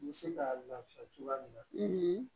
N bɛ se ka lafiya cogoya min na